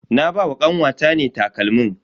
Na ba wa kanwata ne takalmin.